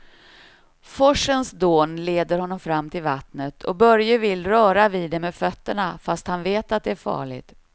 Forsens dån leder honom fram till vattnet och Börje vill röra vid det med fötterna, fast han vet att det är farligt.